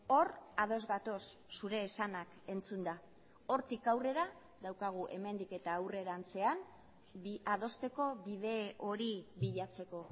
hor ados gatoz zure esanak entzunda hortik aurrera daukagu hemendik eta aurrerantzean adosteko bide hori bilatzeko